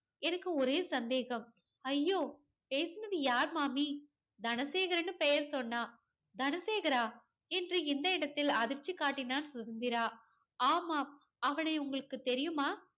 எனக்கு ஒரே சந்தேகம். ஐயோ பேசனது யாரு மாமி தனசேகர்னு பேரு சொன்னான். தனசேகரா என்று இந்த இடத்தில் அதிர்ச்சி காட்டினான் சுதந்திரா. ஆமாம். அவனை உங்களுக்கு தெரியுமா?